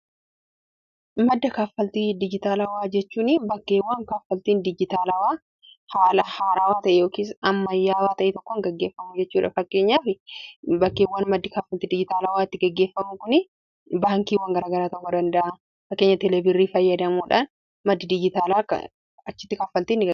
Madda kaaffaltii dijitaalawaa jechuun bakkeewwan kaaffaltiin dijitaalaawaa haala haaraawaa ta'e yookiis amma yaawaa ta'ee tokkon geggeeffamuu jechuudha. Fakkeenya fi bakkeewwan maddi kaaffaltii dijitaalaawaatti geggeeffamu dha.